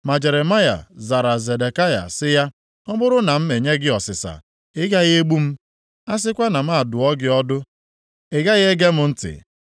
Ma Jeremaya zara Zedekaya sị ya, “Ọ bụrụ na m enye gị ọsịsa, ị gaghị egbu m? A sịkwa na m adụọ gị ọdụ, ị gaghị ege m ntị.”